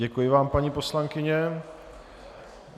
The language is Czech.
Děkuji vám, paní poslankyně.